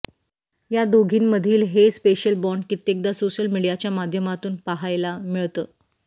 या दोघींमधील हे स्पेशल बाँड कित्येकदा सोशल मीडियाच्या माध्यमातून पाहायला मिळतं